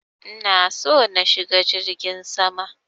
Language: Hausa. Ina so na shiga jirgin sama.